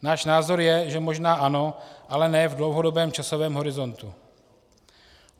Náš názor je, že možná ano, ale ne v dlouhodobém časovém horizontu.